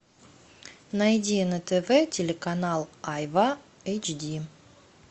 найди на тв телеканал айва эйч ди